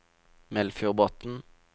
Melfjordbotn